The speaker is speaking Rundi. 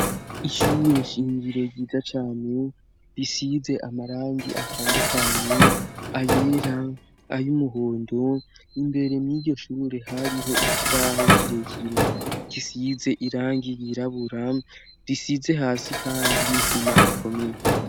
Ishure shingiro ryiza cane, risize amarangi atandukanye ayera ay'umuhondo, imbere mw'iryo shure hariho ikibaho kirekire gisize irangi ryirabura risize hasi, kandi n'isima ikomeye.